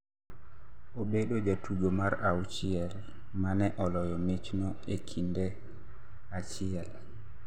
Obedojatugo mar auchiel ma ne oloyo michno e kinde achiel.